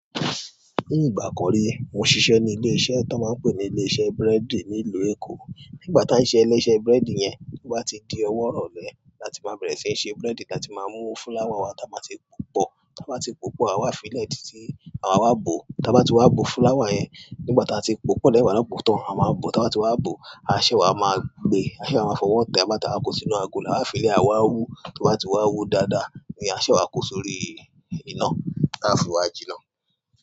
Ní ìgbà kan rí, mo ṣiṣẹ́ ní ilé-iṣẹ́ tọ́n máa ń pè ní ilé-iṣẹ́ búrẹ́dì ní ìlú Èkó. Nígbà tá a ṣiṣẹ́ ní ilé-iṣẹ́ búrẹ́dì yẹn, tó bá ti di ọwọ́ ìrọ̀lẹ́ láti máa bẹ̀rẹ̀ síí ṣe búrẹ́dì, táa ti máa mú fúláwà wá táa máa ti pọ̀. Táa bá ti pòópọ̀, àwa á fi lẹ̀ títí àwa á bòó. Táa bá ti wá bò fúláwà yẹn, nígbà tá a ti pòópọ̀ lẹ́yìn ìgbà táa bá bòó tán, a máa wá bòó. Táa bá ti wá bòó, a sẹ̀ wá máa gbe, a máa fówọ́ tẹ̀ẹ́ nígbà tí a bá n ko sínú agolo, á fiílẹ̀ á wá wú tó bá ti wá wú dáadáa, ni à ṣẹ̀ wá ko sórí iná. Táa fi wá jiná.